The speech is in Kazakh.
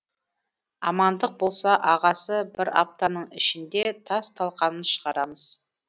амандық болса ағасы бір аптаның ішінде тас талқанын шығарамыз